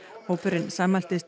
hópurinn sammæltist